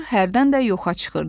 Hərdən də yoxa çıxırdı.